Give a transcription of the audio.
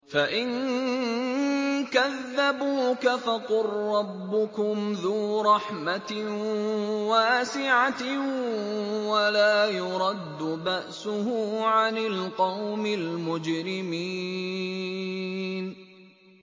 فَإِن كَذَّبُوكَ فَقُل رَّبُّكُمْ ذُو رَحْمَةٍ وَاسِعَةٍ وَلَا يُرَدُّ بَأْسُهُ عَنِ الْقَوْمِ الْمُجْرِمِينَ